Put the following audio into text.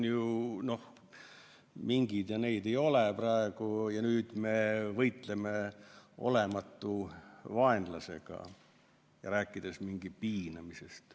No minke ei ole ju praegu ja me võitleme olematu vaenlasega, rääkides minkide piinamisest.